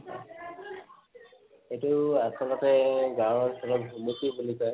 সেইটো আচলতে গাওঁ অঞ্চলত ভুমুকি বুলি কয়